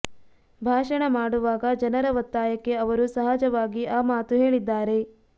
ಭಾಷಣ ಮಾಡುವಾಗ ಜನರ ಒತ್ತಾಯಕ್ಕೆ ಅವರು ಸಹಜವಾಗಿ ಆ ಮಾತು ಹೇಳಿದ್ದಾರೆ